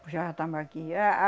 Puxava tambaqui ah a